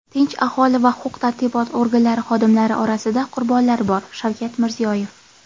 tinch aholi va huquq-tartibot organlari xodimlari orasida qurbonlar bor — Shavkat Mirziyoyev.